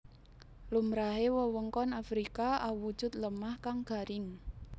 Lumrahe wewengkon Afrika awujud lemah kang garing